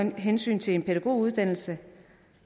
med hensyn til en pædagoguddannelse